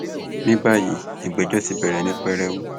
ní báyìí ìgbẹjọ ti bẹrẹ ní pẹrẹu